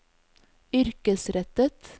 yrkesrettet